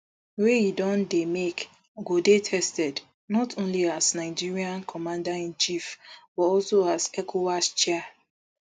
wey im don dey make go dey tested not only as nigeria commanderinchief but also as ecowas chair